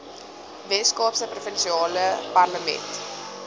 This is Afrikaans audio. weskaapse provinsiale parlement